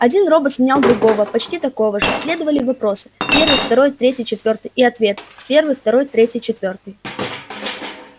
один робот сменял другого почти такого же следовали вопросы первый второй третий четвёртый и ответы первый второй третий четвёртый